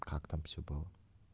как там всё было